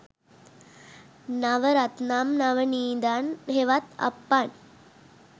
නව රත්නම් නවනීදන් හෙවත් අප්පන්